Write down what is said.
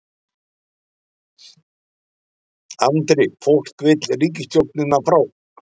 Andri: Fólk vill ríkisstjórnina frá?